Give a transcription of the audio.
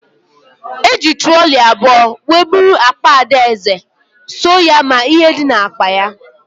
Eji trọlị abụọ wee bụrụ akpa Adaeze, sọ nya ma ihe dị na akpa ya